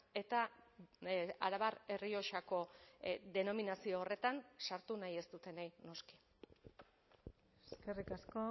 eta arabar errioxako denominazio horretan sartu nahi ez dutenei noski eskerrik asko